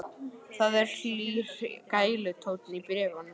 Það er hlýr gælutónn í bréfunum.